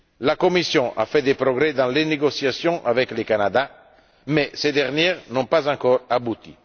La Commission a fait des progrès dans les négociations avec le Canada, mais ces dernières n'ont pas encore abouti.